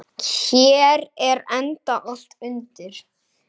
Hér er enda allt undir.